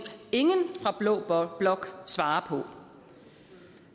ingen fra blå blok svare på